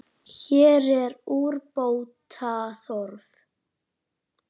Hér er úrbóta þörf.